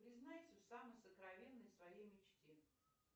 признайся в самой сокровенной своей мечте